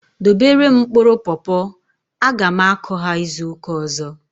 Dobere m mkpụrụ popo! A ga m akụ ha izuka ọzọ